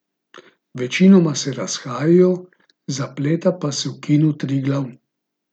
Večinoma se razhajajo, zapleta pa se v Kinu Triglav.